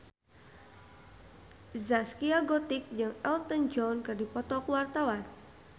Zaskia Gotik jeung Elton John keur dipoto ku wartawan